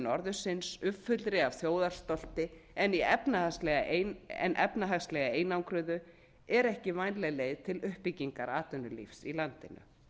norðursins uppfullu af þjóðarstolti en í efnahagslega einangruðu er ekki vænleg leið til uppbyggingar atvinnulífs í landinu